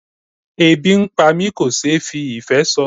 Ebi ń pá mi kò ṣe fí ìfé sọ.